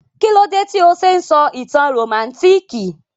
Kílódé tí o se n sọ ìtàn rómántikì?